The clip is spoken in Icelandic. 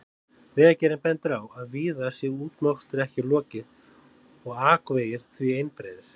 Vegagerðin bendir á að víða sé útmokstri ekki lokið og akvegir því einbreiðir.